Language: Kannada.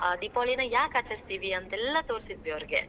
ಆ ದೀಪಾವಳೀನ ಯಾಕ್ ಆಚರಿಸ್ತೀವಿ ಅಂತೆಲ್ಲಾ ತೋರ್ಸಿದ್ವಿ ಅವರ್ಗೆ.